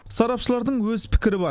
сарапшылардың өз пікірі бар